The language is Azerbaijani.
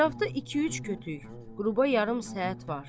Ətrafda iki-üç kütük, qrupa yarım səhət var.